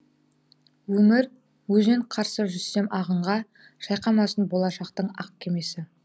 өмір өзен қарсы жүзсем ағынға шайқамасын болашақтын ақ кемесі